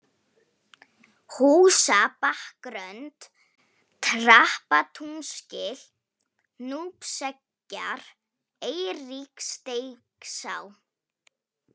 Húsabakkrönd, Trappatúnsgil, Núpseggjar, Eiríksteigsá